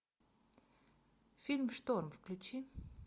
фильм шторм включи